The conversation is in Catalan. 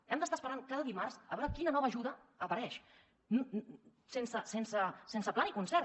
hem d’estar esperant cada dimarts a veure quina nova ajuda apareix sense pla ni concert